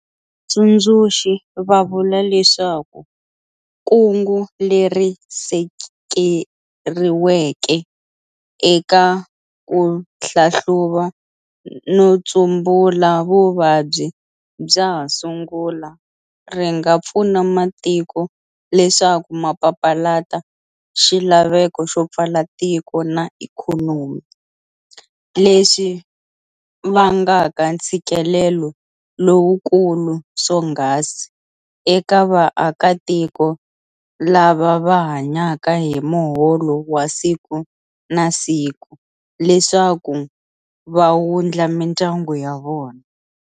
Tsundzuxi va vula leswaku kungu leri sekeriweke eka kuhlahluva no tsumbula vuvabyi bya ha sungula ri nga pfuna matiko leswaku ma papalata xilaveko xo pfala tiko na ikhonomi, leswi vangaka ntshikelelo lowukulu swonghasi eka va aka tiko lava va hanyaka hi muholo wa siku na siku leswaku va wundla mindyangu ya vona.